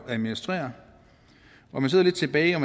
at administrere man sidder lidt tilbage og